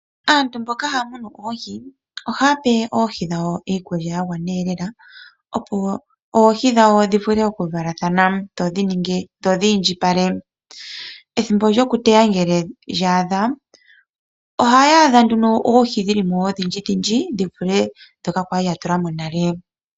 Aantu mboka haya munu oohi ohaya pe oohi dhawo iikulya yagwana ee lela opo oohi dhawo dhivule okuvalathana dhodhi indjipale. Ethimbo lyokuteya ngele lya adha ohaya adha nduno oohi dhilimo odhindji dhindji dhivule dhoka kwali yatulamo nale.